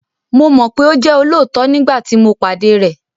Mo mọ̀ pé ó jẹ́ olóòótọ nígbàtí tí mo pàdé rẹ̀